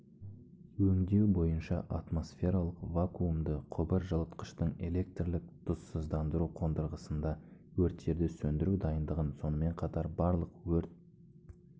өңдеу бойынша атмосфералық-вакуумды құбыр жылытқыштың электрлік тұзсыздандыру қондырғысында өрттерді сөндіру дайындығын сонымен қатар барлық өрт